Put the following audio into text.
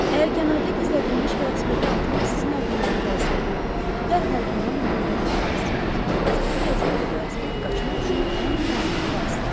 Əgər kənarda gizlədilmiş velosipedi atmaq sizin ağlınıza gəlsəydi, dərhal bundan imtina edərdiniz, çünki hazırkı vəziyyətdə velosiped qaçmaq üçün ən lazımlı vasitədir.